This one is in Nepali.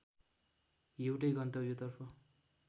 एउटै गन्तव्यतर्फ